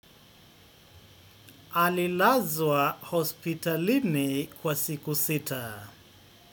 Alilazwa hospitalini kwa siku sita.